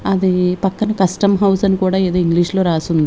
అది పక్కన custom house అని కూడా ఏదో ఇంగ్లీష్ లో రాసి ఉంది.